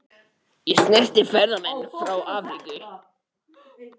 Þetta gæti nú breyst.